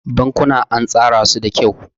Bankuna an tsara su da kyau.